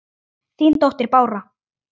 Þín dóttir, Bára.